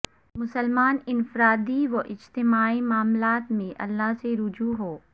مسلمان انفرادی و اجتماعی معاملات میں اللہ سے رجوع ہوں